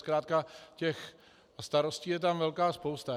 Zkrátka těch starostí je tam velká spousta.